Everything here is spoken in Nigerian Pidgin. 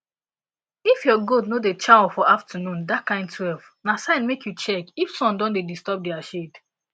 if your goat no da chaw for afternoon dat kind twelve na sign make you check if sun don da disturb dia shade